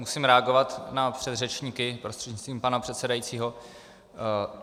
Musím reagovat na předřečníky prostřednictvím pana předsedajícího.